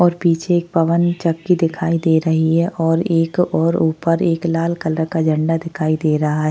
और पीछे एक पवन चक्की दिखाई दे रही है और एक और उपर एक लाल कलर का झंडा दिखाई दे रहा --